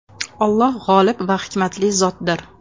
Alloh g‘olib va hikmatli zotdir.